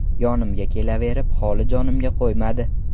Yonimga kelaverib, holi jonimga qo‘ymadi.